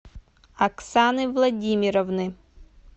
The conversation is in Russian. оксаны владимировны